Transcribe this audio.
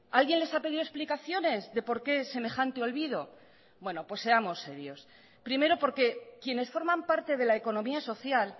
alguien les ha pedido explicaciones de por qué semejante olvido bueno pues seamos serios primero porque quienes forman parte de la economía social